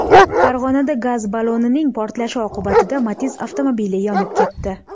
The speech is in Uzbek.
Farg‘onada gaz ballonning portlashi oqibatida Matiz avtomobili yonib ketdi.